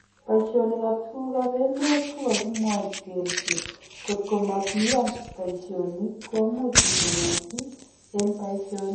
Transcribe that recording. Paishonik ap tuguk ap emet kokakimwanchi kelchi kotkomakiyan paishonik komuch kitonosin en paishonik